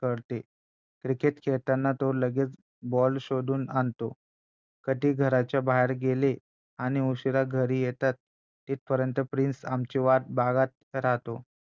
कळते क्रिकेट खेळताना तो लगेच बॉल शोधून आणतो कधी घराच्या बाहेर गेले आणि उशिरा घरी येतात तिथपर्यंत प्रिन्स आमची वाट बघत राहतो